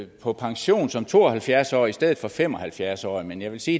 på pension som to og halvfjerds årig i stedet for som fem og halvfjerds årig men jeg vil sige